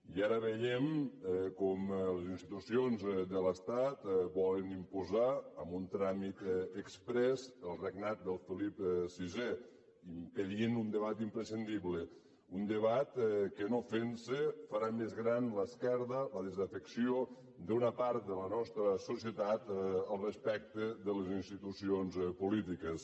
i ara veiem com les institucions de l’estat volen imposar amb un tràmit exprés el regnat de felip vi impedint un debat imprescindible un debat que no fent se farà més gran l’esquerda la desafecció d’una part de la nostra societat respecte a les institucions polítiques